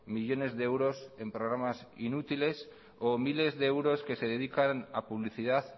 millónes de euros en programas inútiles o miles de euros que se dedican a publicidad